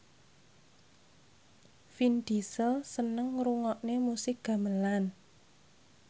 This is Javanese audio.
Vin Diesel seneng ngrungokne musik gamelan